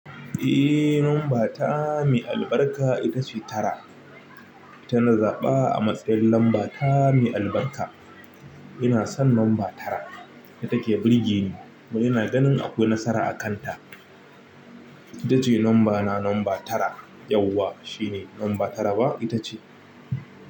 Eh, lamba ta mai albarka ita ce tara. Tana zaɓa a matsayin lamba ta mai albarka. Ina son lamba tara, ita ke birge ni, kuma ina ganin akwai nasara a kanta. Ita ce lamba na lamba tara. Yauwa shine lamba tara ba ita ce.